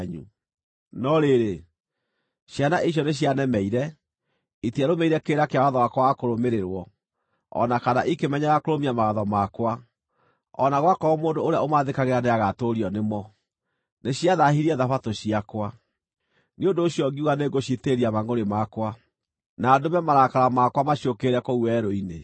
“ ‘No rĩrĩ, ciana icio nĩcianemeire: Itiarũmĩrĩire kĩrĩra kĩa watho wakwa wa kũrũmĩrĩrwo, o na kana ikĩmenyerera kũrũmia mawatho makwa, o na gwakorwo mũndũ ũrĩa ũmathĩkagĩra nĩagatũũrio nĩmo, nĩciathaahirie Thabatũ ciakwa. Nĩ ũndũ ũcio ngiuga nĩngũciitĩrĩria mangʼũrĩ makwa, na ndũme marakara makwa maciũkĩrĩre kũu werũ-inĩ.